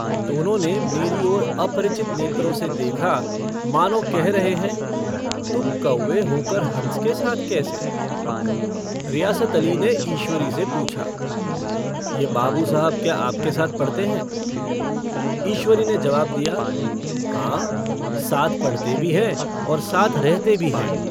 दोनों ने मेरी ओर अपरिचत नेत्रों से देखा, मानों कह रहे हैं तुम कौवे होकर हंस के साथ कैसे? रियासत अली ने ईश्वरी से पूछा - यह बाबू साहब क्या आपके साथ पढ़ते हैं? ईश्वरी ने जवाब दिया - हाँ साथ पढ़ते भी हैं और साथ रहते भी हैं।